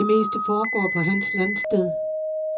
Det meste foregår på hans landsted.